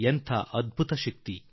ಅದೆಂತಹ ದೊಡ್ಡ ಶಕ್ತಿ